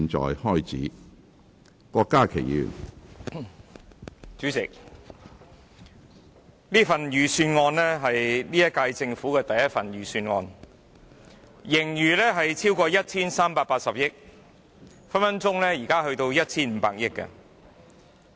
主席，這份財政預算案是現屆政府的第一份預算案，盈餘超過 1,380 億元，現在隨時達到 1,500 億元。